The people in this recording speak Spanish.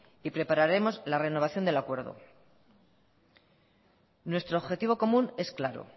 y prepararemos la renovación del acuerdo nuestro objetivo común es claro